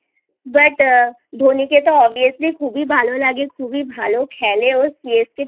But Dhoni কে তো Obviously খুবই ভালো লাগে খুবই ভালো খেলেও